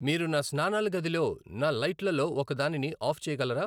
మీరు నా స్నానాల గదిలో నా లైట్లలో ఒకదానిని ఆఫ్ చేయగలరా